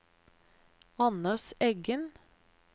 Anders Eggen